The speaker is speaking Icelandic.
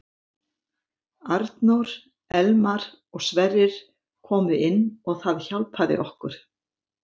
Arnór, Elmar og Sverrir komu inn og það hjálpaði okkur.